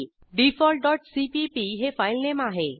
default dot CPP हे filename आहे